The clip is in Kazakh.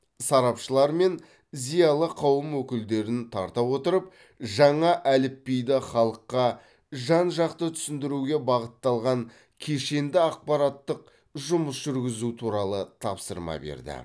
сарапшылар мен зиялы қауым өкілдерін тарта отырып жаңа әліпбиді халыққа жан жақты түсіндіруге бағытталған кешенді ақпараттық жұмыс жүргізу туралы тапсырма берді